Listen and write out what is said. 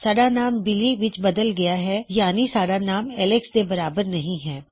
ਸਾਡਾ ਨਾਮ ਬਿਲੀ ਵਿੱਚ ਬਦਲ ਗਇਆ ਹੈ ਯਾਨੀ ਸਾਡਾ ਨਾਮ ਐੱਲਕਸ ਦੇ ਬਰਾਬਰ ਨਹੀ ਹੈ